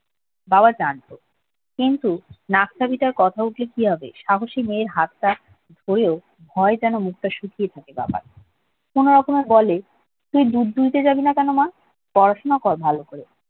বাবা জানতো কিন্তু কথা উঠলে কি হবে সাহসী মেয়ের হাতটা হেয়েও ভয়ে যেন মুখটা শুকিয়ে কোন রকমে বলে তুই দুধ তুলতে যাবি না কেন মা পড়াশোনা কর ভালো করে